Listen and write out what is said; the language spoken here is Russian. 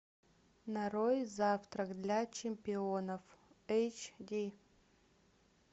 нарой завтрак для чемпионов эйч ди